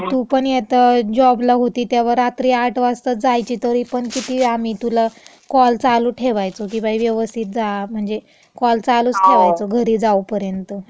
म तू पण येतावेळेस जॉबला होती तेव्हा रात्री आठ वाजताच जायची तरी पण किती आम्ही तुला कॉल चालू ठेवायचो की बाई व्यवस्थित जा. म्हणजे कॉल चालूच ठेवायचो